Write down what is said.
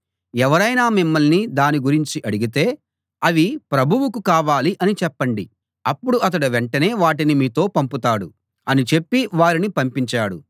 ఎవరైనా మిమ్మల్ని దాని గురించి అడిగితే అవి ప్రభువుకు కావాలి అని చెప్పండి అప్పుడు అతడు వెంటనే వాటిని మీతో పంపుతాడు అని చెప్పి వారిని పంపించాడు